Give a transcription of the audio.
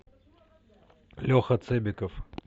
леха цебиков